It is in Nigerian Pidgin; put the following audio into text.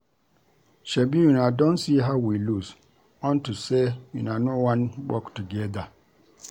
Shebi una don see how we lose unto say una no wan work together